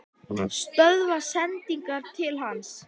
Stöðva sendingar til hans?